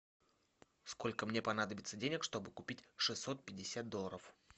сколько мне понадобится денег чтобы купить шестьсот пятьдесят долларов